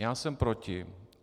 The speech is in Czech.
Já jsem proti.